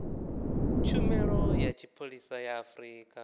tshumelo ya tshipholisa ya afrika